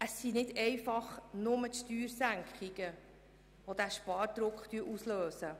Es sind nicht einfach nur die Steuersenkungen, die den Spardruck auslösen.